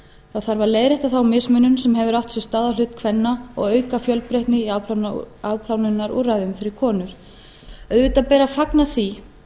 það þarf að leiðrétta þá mismunun sem hefur átt sér stað á hlut kvenna og auka fjölbreytni í afplánunarúrræðum fyrir konur auðvitað ber að fagna því